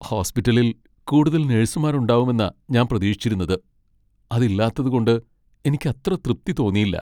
ഹോസ്പിറ്റലിൽ കൂടുതൽ നഴ്സുമാർ ഉണ്ടാവുമെന്നാ ഞാൻ പ്രതീക്ഷിച്ചിരുന്നത് , അത് ഇല്ലാത്തത് കൊണ്ട് എനിക്ക് അത്ര തൃപ്തി തോന്നിയില്ല.